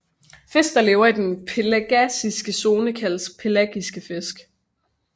Fisk der lever i den pelagiske zone kaldes pelagiske fisk